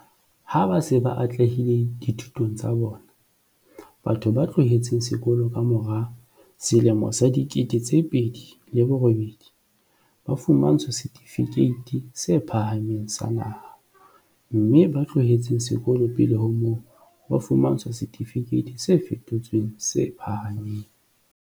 Ha ba se ba atlehile dithutong tsa bona, batho ba tlohetseng sekolo ka mora 2008 ba fumantshwa Setifikeiti se Phahameng sa Naha, mme ba tlohetseng sekolo pele ho moo, ba fumantshwa Setifikeiti se Fetotsweng se Phahameng.